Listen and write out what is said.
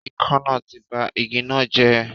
Ikán náà ti ba igi náà jẹ́